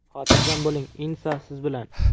Xotirjam bo‘ling, INSA siz bilan!.